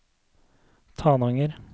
Tananger